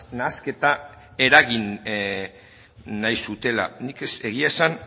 nahasketa eragin nahi zutela nik egia esan